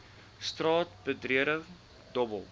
straat betreding dobbel